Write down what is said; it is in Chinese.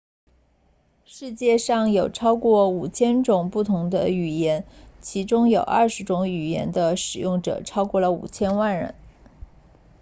世界上有超过 5,000 种不同的语言其中有20多种语言的使用者超过了 5,000 万人